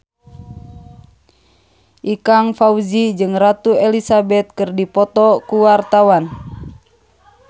Ikang Fawzi jeung Ratu Elizabeth keur dipoto ku wartawan